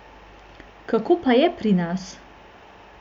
Kako pa je pri nas?